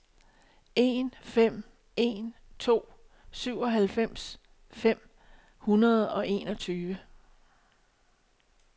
en fem en to syvoghalvfems fem hundrede og enogtyve